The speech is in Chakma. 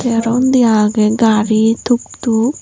te aro undi aagay gari tuk tuk.